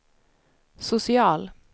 social